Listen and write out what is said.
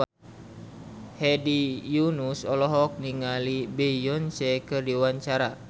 Hedi Yunus olohok ningali Beyonce keur diwawancara